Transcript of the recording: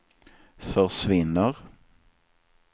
försvinner